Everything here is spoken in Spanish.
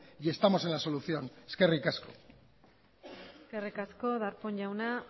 y estamos en la solución eskerrik asko eskerrik asko darpón jauna